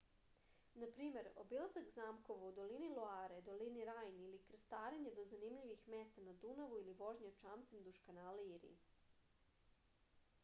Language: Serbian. na primer obilazak zamkova u dolini loare dolini rajne ili krstarenje do zanimljivih mesta na dunavu ili vožnja čamcem duž kanala iri